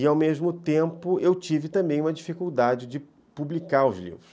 E, ao mesmo tempo, eu tive também uma dificuldade de publicar os livros.